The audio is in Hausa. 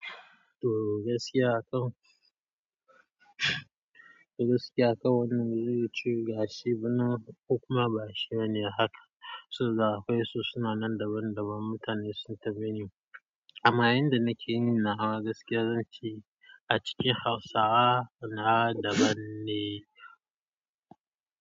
To gaskiya to, gaskiya akan kuma ba shi bane haka. Sun da akwai su suna nan daban daban, mutane sun tafi ni. Amma inda nake yin nawa gaskiya zan ce a cikin Hausawa na daban ne.